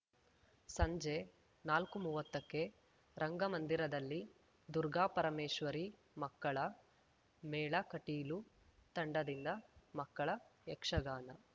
ಸಂಜೆ ನಾಲ್ಕುಮುವ್ವತ್ತಕ್ಕೆ ರಂಗಮಂದಿರದಲ್ಲಿ ದುರ್ಗಾಪರಮೇಶ್ವರಿ ಮಕ್ಕಳ ಮೇಳ ಕಟೀಲು ತಂಡದಿಂದ ಮಕ್ಕಳ ಯಕ್ಷಗಾನ